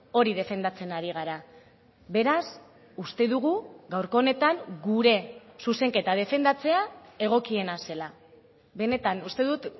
hori defendatzen ari gara beraz uste dugu gaurko honetan gure zuzenketa defendatzea egokiena zela benetan uste dut